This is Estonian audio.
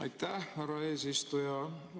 Aitäh, härra eesistuja!